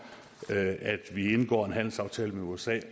at vi indgår en handelsaftale med usa